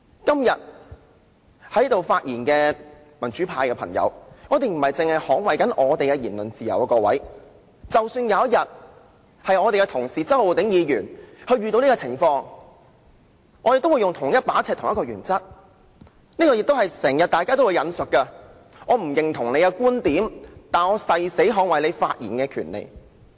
今天發言的民主派議員不僅是要捍衞本身的言論自由，假使有一天周浩鼎議員遇到這種情況，我們行事也會用同一把尺、按同一個原則，就正如大家經常引述的一句話："我不認同你的觀點，但我誓死捍衞你發言的權利"。